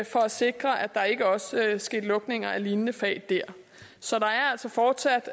for at sikre at der ikke også sker lukning af lignende fag der så der er altså fortsat